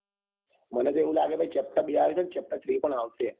મને તો એવું લાગે છે chapter બે આવે છે અને chapter three પણ આવસે